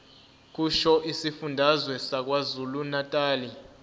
kusho isifundazwe sakwazulunatali